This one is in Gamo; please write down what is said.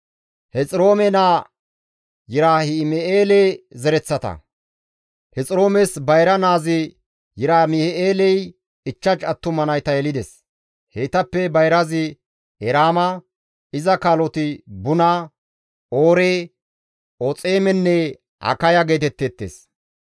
Hexiroomes bayra naazi Yerahim7eeley 5 attuma nayta yelides; heytappe bayrazi Eraama, iza kaaloti Buna, Oore, Oxeemenne Akaya geetetteettes.